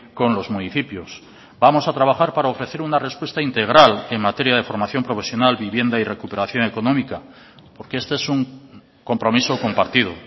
con los municipios vamos a trabajar para ofrecer una respuesta integral en materia de formación profesional vivienda y recuperación económica porque este es un compromiso compartido